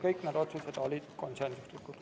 Kõik need otsused olid konsensuslikud.